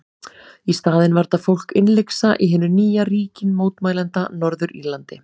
Í staðinn var þetta fólk innlyksa í hinu nýja ríki mótmælenda, Norður-Írlandi.